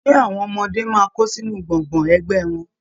Ṣe àwọn ọmọdé máa kó sínú gbọ́ngbọ̀n ẹgbẹ wọn?